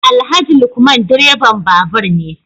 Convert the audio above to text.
Alhaji Lukman direban babur ne